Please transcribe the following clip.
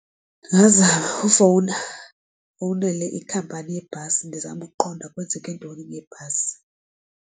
Ndingazama ufowuna ndifowunele iikhampani yebhasi ndizame ukuqonda kwenzeke ntoni ngebhasi.